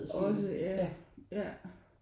Også ja ja